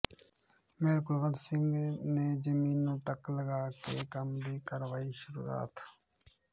mayor Kulwant Singh ਨੇ ਜ਼ਮੀਨ ਨੂੰ ਟੱਕ ਲਗਾ ਕੇ ਕੰਮ ਦੀ ਕਰਵਾਈ ਸ਼ੁਰੂਆਤ